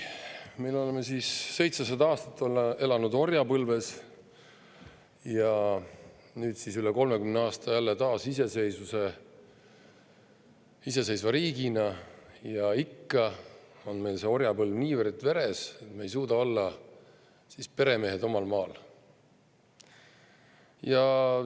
Me elasime 700 aastat orjapõlves ja nüüd oleme üle 30 aasta elanud jälle iseseisva riigina, aga ikka on meil see orjapõlv niivõrd veres, et me ei suuda olla peremehed omal maal.